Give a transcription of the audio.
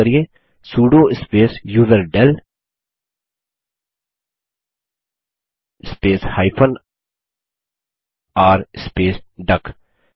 यहाँ टाइप करिये sudo space userdel space r space duck